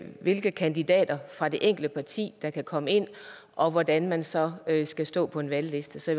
hvilke kandidater fra det enkelte parti der kan komme ind og hvordan man så skal stå på en valgliste så